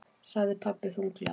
sagði pabbi þunglega.